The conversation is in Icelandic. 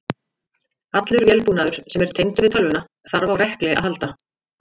Allur vélbúnaður sem er tengdur við tölvuna þarf á rekli að halda.